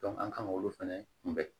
an kan k'olu fɛnɛ kunbɛn